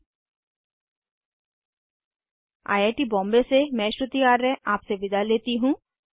httpspoken tutorialorgNMEICT Intro I I T Bombay से मैं श्रुति आर्य आपसे विदा लेती हूँ